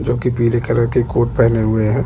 जो की पिले कलर की कोर्ट पहने हुए है।